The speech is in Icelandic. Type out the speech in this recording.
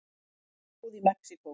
Flóð í Mexíkó